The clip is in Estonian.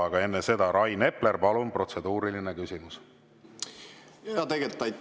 Aga enne seda, Rain Epler, palun, protseduuriline küsimus!